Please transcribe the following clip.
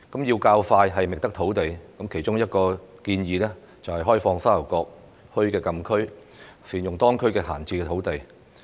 要較快覓得土地，其中一項建議就是開放沙頭角墟禁區，善用當區的閒置土地。